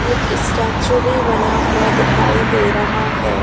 एक स्टैचू भी बना हुआ दिखाई दे रहा है।